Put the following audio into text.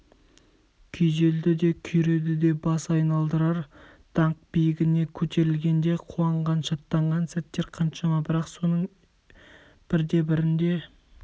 күйзелді де күйреді де бас айналдырар даңқ биігіне көтерілгенде қуанған шаттанған сәттер қаншама бірақ соның бірде-бірінде